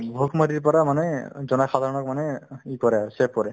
বহুত সময়ত পৰা মানে জনসাধাৰণক মানে কৰে আৰু save কৰে